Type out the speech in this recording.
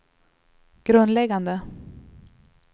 grundläggande